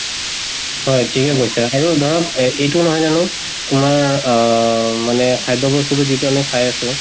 হয়, ঠিকে কৈছা, আৰু ধৰক এইটো নহয় জানো আমাৰ আহ মা-নে খাদ্য় ব্স্তুটো যিটো আমি খাই আছো